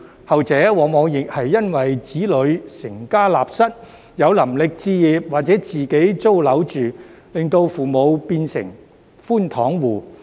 後者往往亦是因為子女成家立室，有能力置業或自己租樓住，令父母變成寬敞戶。